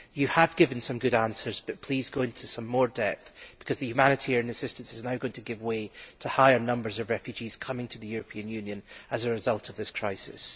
You have given some good answers, but please go into some more depth, because the humanitarian assistance is now going to give way to higher numbers of refugees coming to the European Union as a result of this crisis.